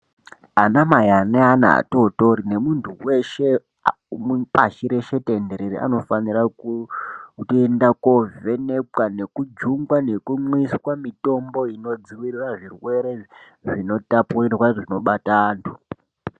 Anamai ane ana atootori, nemunthu weshe pashi reshe tenderere, anofanira kutoenda koovhenekwa, nekujungwa nekumwiswa mitombo inodzivirira zvirwere zvinotapirira zvinobata anthu.